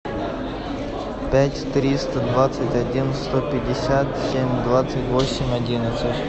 пять триста двадцать один сто пятьдесят семь двадцать восемь одиннадцать